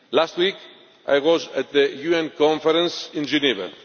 Last week I was at the UN Conference in Geneva.